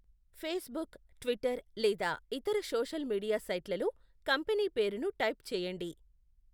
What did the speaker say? Facebook, Twitter లేదా ఇతర social media సైట్లలో కంపెనీ పేరును టైప్ చేయండి.